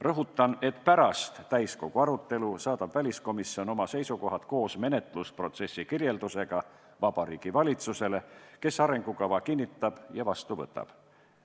Rõhutan, et pärast täiskogu arutelu saadab väliskomisjon oma seisukohad koos menetlusprotsessi kirjeldusega Vabariigi Valitsusele, kes arengukava kinnitab ja vastu võtab.